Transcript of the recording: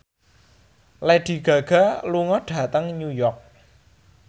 Lady Gaga lunga dhateng New York